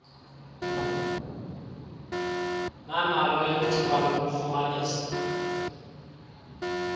nanalo elithuba lokufumanisa